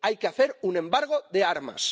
Hay que hacer un embargo de armas.